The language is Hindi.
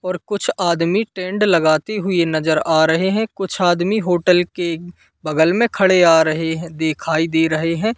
और कुछ आदमी टेंट लगाती हुई नज़र आ रहे हैं कुछ आदमी होटल के बगल में खड़े आ रहे हैं दिखाई दे रहे हैं।